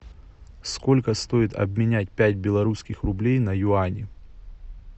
сколько стоит обменять пять белорусских рублей на юани